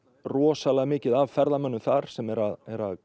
rosalega mikið af ferðamönnum þar sem eru að